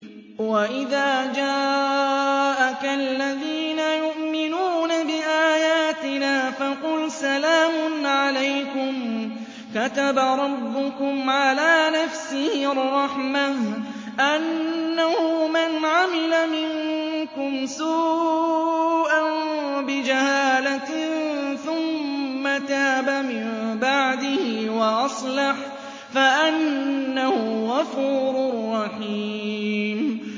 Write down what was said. وَإِذَا جَاءَكَ الَّذِينَ يُؤْمِنُونَ بِآيَاتِنَا فَقُلْ سَلَامٌ عَلَيْكُمْ ۖ كَتَبَ رَبُّكُمْ عَلَىٰ نَفْسِهِ الرَّحْمَةَ ۖ أَنَّهُ مَنْ عَمِلَ مِنكُمْ سُوءًا بِجَهَالَةٍ ثُمَّ تَابَ مِن بَعْدِهِ وَأَصْلَحَ فَأَنَّهُ غَفُورٌ رَّحِيمٌ